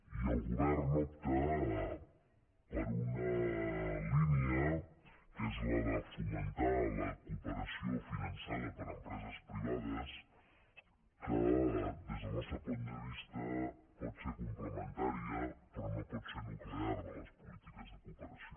i el govern opta per una línia que és la de fomentar la cooperació finançada per empreses privades que des del nostre punt de vista pot ser complementària però no pot ser nuclear de les polítiques de cooperació